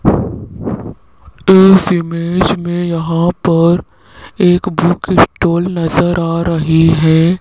इस इमेज में यहां पर एक बुक स्टोर नजर आ रही है।